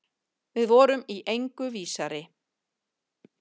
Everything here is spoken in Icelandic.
Við vorum í engu vísari.